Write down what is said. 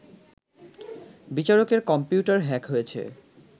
বিচারকের computer hack হয়েছে